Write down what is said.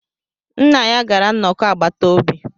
Nna ya gara nnọkọ agbata obi